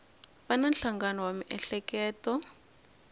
va na nhlangano wa miehleketo